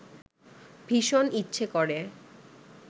ভীষণ ইচ্ছে করে